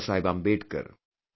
Baba Saheb Ambedkar